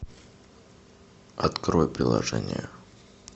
открой приложение